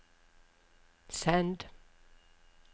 send